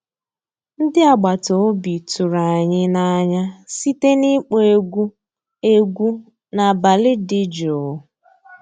Ndị́ àgbàtà òbí tụ̀rụ̀ ànyị́ n'ànyá síté n'ị́kpọ́ égwu égwu n'àbàlí dị́ jụ́ụ́.